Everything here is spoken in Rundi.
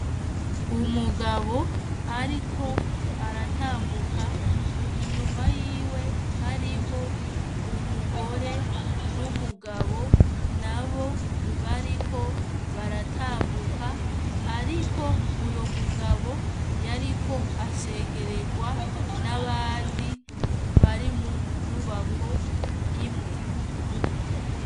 Umugabo ariko aratambuka inyuma yiwe hariho umugore n'umugabo nabo bariko baratambuka ariko uyo mugabo yariko ashengererwa n ' abandi bari mu nyubako imwe.